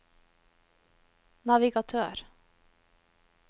navigatør